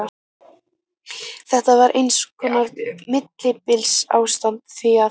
Þetta var eins konar millibilsástand, því að